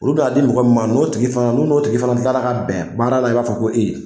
Olu bi taa di mɔgɔ min maa n'o tigi fana n'u n'o tigi fana kila la ka bɛn baara la i b'a fɔ ko e